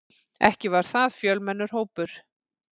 Ekki var það fjölmennur hópur.